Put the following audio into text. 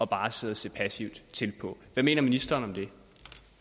bare at sidde og se passivt til på hvad mener ministeren